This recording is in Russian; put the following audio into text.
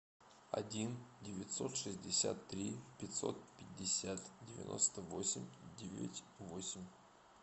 один девятьсот шестьдесят три пятьсот пятьдесят девяносто восемь девять восемь